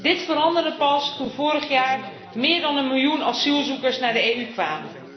Dit veranderde pas toen vorig jaar meer dan een miljoen asielzoekers naar de EU kwam.